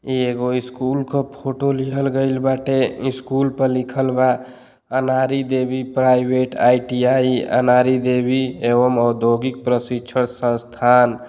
एगो स्कुल का फोटो लीहल गइल बाटे। स्कुल पर लिखल बा अनारी देवी प्राइवेट आईटीआई अनारी देवी एवं औधोगिक प्रशिक्षण संस्थान।